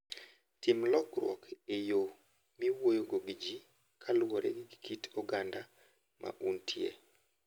Tim lokruok e yo miwuoyogo gi ji kaluwore gi kit oganda ma untie.